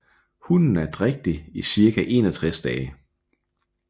Hunnen er drægtig i cirka 61 dage